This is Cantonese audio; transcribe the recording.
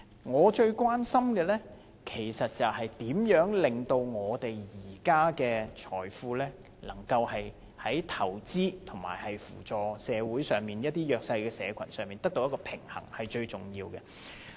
我最關心的是，如何在把我們現在的財富用於投資與用於扶助社會弱勢社群之間取得平衡，這是最重要的。